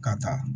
Ka taa